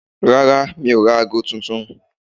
Rárá, mi ò ra ago tuntun.